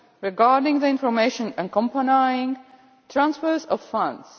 regarding the information accompanying transfers of funds.